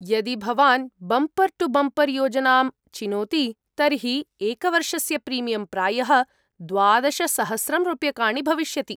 यदि भवान् bumper to bumper योजनां चिनोति, तर्हि एकवर्षस्य प्रीमियं प्रायः द्वादशसहस्रं रूप्यकाणि भविष्यति।